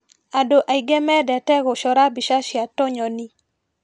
Andũ aingĩ mendete gũcora mbica cia tũnyoni.